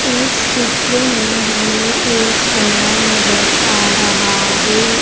इस चित्र में हमें एक कमरा नजर आ रहा है।